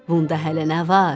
Bunda hələ nə var?